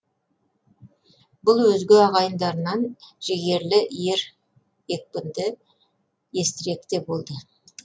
бұл өзге ағайындарынан жігерлі ер екпінді естірек те болды